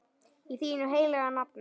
Í þínu heilaga nafni.